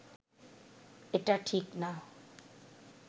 এটা ঠিক না